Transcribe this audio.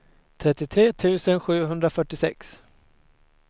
trettiotre tusen sjuhundrafyrtiosex